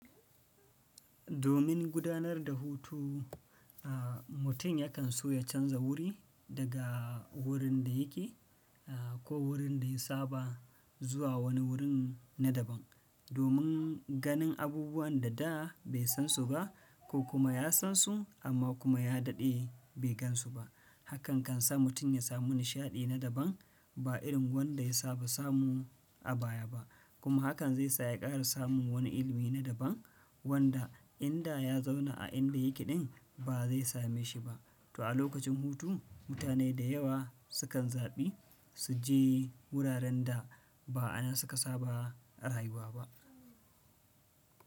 Domin gudanar da hutu, mutum yakan so ya canza wuri daga wurin da yake ko wurin da ya saba zuwa wani wurin na daban domin ganin abubuwan da da bai san su ba ko kuma ya san su amma kuma ya daɗe bai gan su ba. Hakan kan sa mutum ya samu nishaɗi na daban ba irin wanda ya saba samu a baya ba, kuma hakan zai sa ya ƙara samun wani ilimi na daban wanda in da ya zauna a inda yake ɗin ba zai same shi ba. To a lokacin hutu mutane da yawa sukan zaɓi su je wuraren da ba anan suka saba a rayuwa ba.